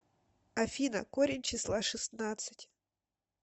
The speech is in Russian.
афина корень числа шестнадцать